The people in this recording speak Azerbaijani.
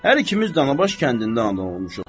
Hər ikimiz Danabaş kəndində anadan olmuşuq.